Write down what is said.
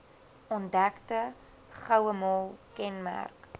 ontdekte gouemol kenmerk